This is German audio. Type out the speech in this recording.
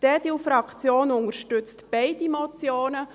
Die EDUFraktion unterstützt beider Motionen.